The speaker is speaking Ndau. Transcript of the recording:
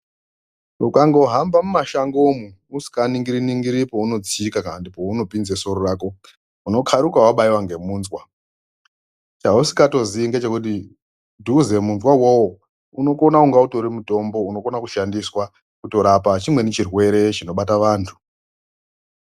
Ukangohamba mumashango umwo isinganingiri ningiri peunotsika kana kuti peunopinza soro rako unokaruka wabaiwa ngemunzwa, chausingatozii kuti ubve munzwa uwowo unokona utori mutombo unokona kushandiswa kutorapa chimweni chirwere chinobata vantu.